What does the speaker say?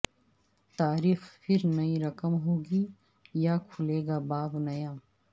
تاریخ پھر نئی رقم ہوگی یا کھلے گا باب نیا